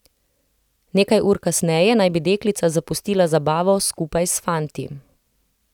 Nekaj ur kasneje naj bi deklica zapustila zabavo skupaj s fanti.